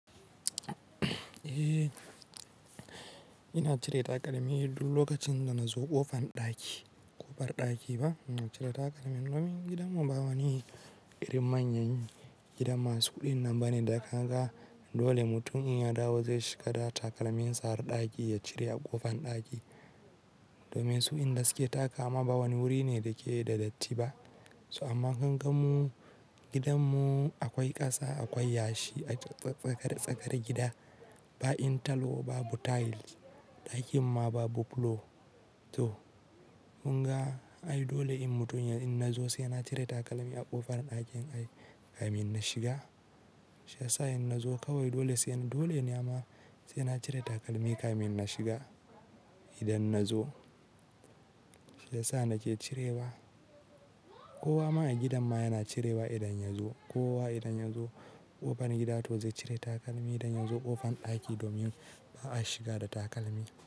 Eh, ina cire takalmi duk lokacin da nazo ƙofan ɗaki, ƙofar ɗaki ba ina cire takalmin. Domin gidanmu ba wani irin manyan gida masu kuɗin nan ba ne da ka ga dole mutum in ya dawo zai shiga da takalmin sa har ɗaki ya cire a ƙofan ɗaki. Domin su inda suke takama ba wani wuri ne da ke da datti ba. So amma kan gan mu gidanmu akwai ƙasa, akwai yashi a tsakar tsakar gida ba intalowa ba butail ɗakin ma ba buffalo to mun ga ai dole in mutum in nazo sai na cire takalmi a ƙofan ɗakin ai kamin na shiga. Sai in nazo kawai dole sai dole ne ama sai na cire takalmi kamin na shiga idan nazo. Sai sa nake cirewa. Kowa ma a gidan ma yana cirewa idan ya zo kowa idan ya zo ƙofan gida to zai cire takalmi idan ya zo ƙofan ɗaki domin ba a shiga da takalmi.